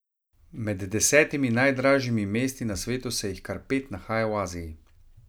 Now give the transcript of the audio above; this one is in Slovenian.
Med desetimi najdražjimi mesti na svetu se jih kar pet nahaja v Aziji.